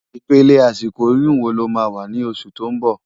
Ipélé àsikó óyùn wó ló má wá ni ósù tó n bò?